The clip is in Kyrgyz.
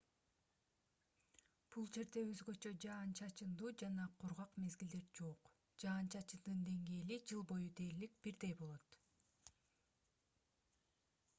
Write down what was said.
бул жерде өзгөчө жаан-чачындуу жана кургак мезгилдер жок жаан-чачындын деңгээли жыл бою дээрлик бирдей болот